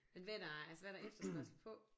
Men hvad er der altså hvad er der efterspørgsel på?